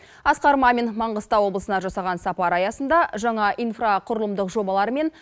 асқар мамин маңғыстау облысына жасаған сапары аясында жаңа инфрақұрылымдық жобалар мен